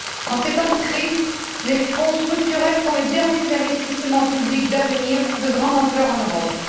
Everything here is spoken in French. En ces temps de crise, les fonds structurels sont les derniers investissements publics d'avenir de grande ampleur en Europe.